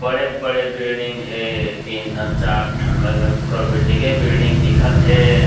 बड़े-बड़े बिडिंग हे तीन ठन चार ठन ओमे पूरा बिल्डिंगे बिडिंग दिखत हे।